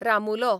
रामुलो